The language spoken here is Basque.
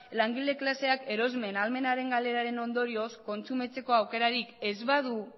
langile klaseak erosmen ahalmenaren galeraren ondorioz kontsumitzeko aukerarik ez badu